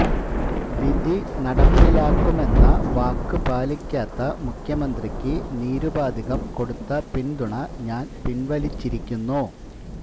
വിധി നടപ്പിലാക്കുമെന്ന വാക്ക് പാലിക്കാത്ത മുഖ്യമന്ത്രിക്ക് നിരുപാധികം കൊടുത്ത പിന്തുണ ഞാന് പിന്വലിച്ചിരിക്കുന്നു